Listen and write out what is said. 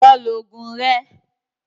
Lọ lo oògùn rẹ